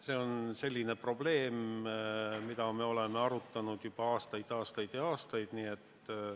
See on selline probleem, mida me oleme arutanud juba aastaid, aastaid ja aastaid.